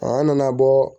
An nana bɔ